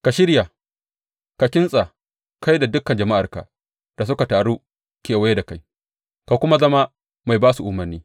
Ka shirya; ka kintsa, kai da dukan jama’arka da suka taru kewaye da kai, ka kuma zama mai ba su umarni.